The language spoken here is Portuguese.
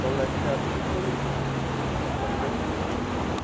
São da literatura como leitores, né, mas não como escritores. Tá.